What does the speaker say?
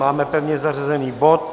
Máme pevně zařazený bod